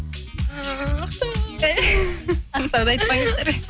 ақтауды айтпаңыздар